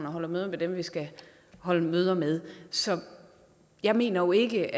og holder møder med dem vi skal holde møder med så jeg mener ikke